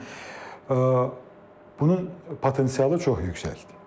Yəni bunun potensialı çox yüksəkdir.